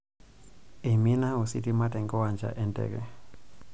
Eimina ositima tenkiwanja enteke.